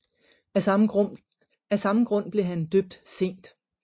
Af samme grund blev han døbt sent